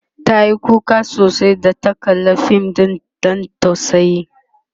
tayi kuka sosai da ta kalla Fim ɗin Dan tausayi